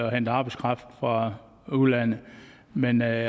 og hente arbejdskraft fra udlandet men at